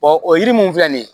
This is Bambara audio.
o yiri mun filɛ nin ye